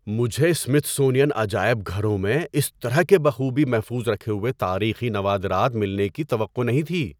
مجھے سمِتھسونین عجائب گھروں میں اس طرح کے بخوبی محفوظ رکھے ہوئے تاریخی نوادرات ملنے کی توقع نہیں تھی۔